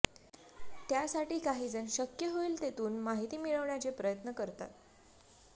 त्यासाठी काहीजण शक्य होईल तेथून माहिती मिळवण्याचे प्रयत्न करतात